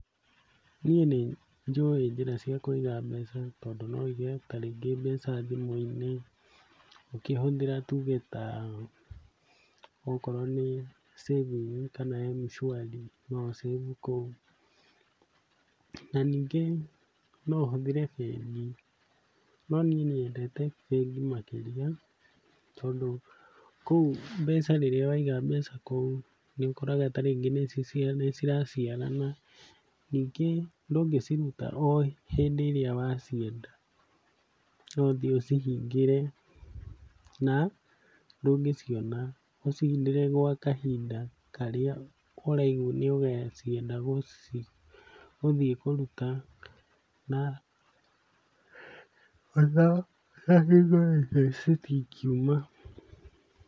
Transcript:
Niĩ nĩnjũĩ njĩra cia kũiga mbeca tondũ no wĩige ta rĩngĩ mbeca thimũ-inĩ ũkĩhũthĩra tuge ta okorwo nĩ saving kana Mshwari no ũ save kũu. Na ningĩ no ũhũthĩre bengi, no niĩ nyendete bengi makĩria tondũ kũu mbeca rĩrĩa waiga mbeca kũu nĩũkoraga ta rĩngĩ nĩciraciarana, ningĩ ndũngĩciruta o hĩndĩ ĩrĩa wacienda, no ũthiĩ ũcihingĩre na ndũngĩciona, ũcihingĩre gwa kahinda karĩa ũraigua nĩũgacienda gũthiĩ kũruta na citingiuma.